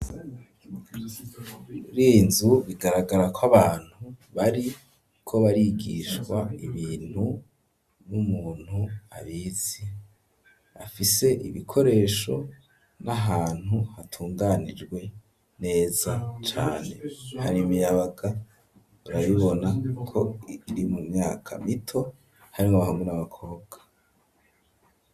Kuriyi nzu bigaragara ko abantu bariko barigishwa ibintu n'umuntu abizi afise ibikoresho n'ahantu hatunganijwe neza cane hari miyabaga urabibona ko iri mu myaka mito harimwo bahamwe n'abakobwa.